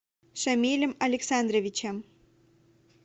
шамилем александровичем